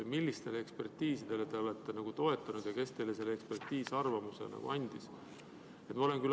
Millistele ekspertiisidele te olete toetunud ja kes sellise eksperdiarvamuse andis?